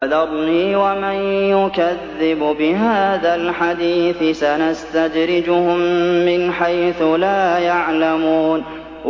فَذَرْنِي وَمَن يُكَذِّبُ بِهَٰذَا الْحَدِيثِ ۖ سَنَسْتَدْرِجُهُم مِّنْ حَيْثُ لَا يَعْلَمُونَ